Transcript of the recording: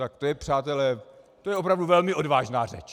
tak to je, přátelé, to je opravdu velmi odvážná řeč.